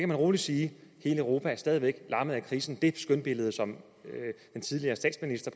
man roligt sige hele europa er stadig væk lammet af krisen det skønmaleri som den tidligere statsminister